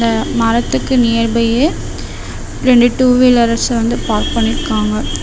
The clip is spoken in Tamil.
அ மரத்துக்கு நியர்பையே ரெண்டு டூ வீலர்ஸ் பார்க்க பண்ணிருக்காங்க.